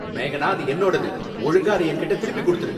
மேகனா, அது என்னோடது, ஒழுங்கா அத என்கிட்ட திருப்பிக் கொடுத்துடு!